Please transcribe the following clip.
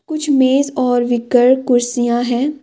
कुछ मेज और कुर्सियां हैं।